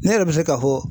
Ne yɛrɛ bɛ se k'a fɔ